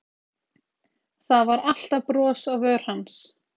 Það var alltaf bros á vör hans.